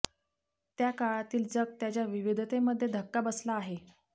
त्या काळातील जग त्याच्या विविधतेमध्ये धक्का बसला आहे